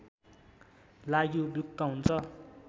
लागि उपयुक्त हुन्छ